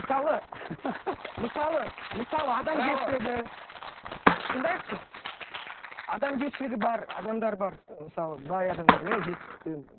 мысалы мысалы мысалы адамгершілігі тыңдайықшы адамгершілігі бар адамдар бар мысалы бай адамдар иә жетістікте